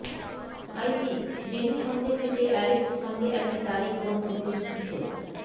আইজী Denny সঙ্গে খেতে Alex সঙ্গে একটি তারিখ বন্ধ প্রস্ফুটিত